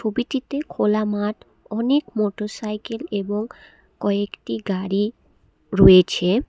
ছবিটিতে খোলা মাঠ অনেক মোটরসাইকেল এবং কয়েকটি গাড়ি রয়েছে।